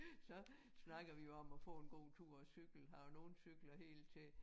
Så snakker vi jo om at få en god tur og cykle her og nogle cykler helt til